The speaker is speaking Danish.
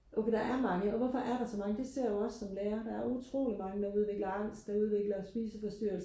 okay der er mange og hvorfor er der så mange det ser jeg også som lærer der er utrolig mange der udvikler angst og udvikler spiseforstyrrelse